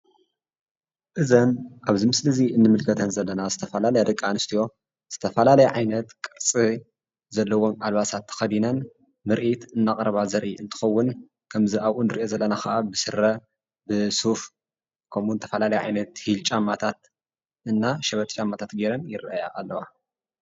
እዘን ኣብዚ ምስሊ እዚ እንምልከተን ዘለና ዝተፈላለያ ደቂ ኣንስትዮ ዝተፈላለያ ዓይነት ቅርፂ ዘለዎን ኣልባሳት ተኸዲ ነን ምርኢት ደቂ ኣንስትዮ እንትኸውን ከምዚ ኣብኡ ንሪኦ ዘለና ከዓ ብስረ፣ ብሱፍ ፣ ከምኡ ውን ዝተፈላለየ ዓይነት ጫማ ሂል እና ሸበጥ ጫማታት ገይረን ይረአያ ኣለዋ።